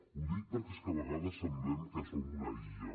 ho dic perquè és que a vegades semblem que som una illa